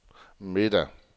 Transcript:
middag